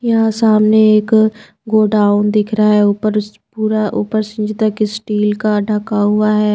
यहां सामने एक गो डाउन दिख रहा है ऊपर पूरा ऊपर सिंज तकस्टील का ढका हुआ है।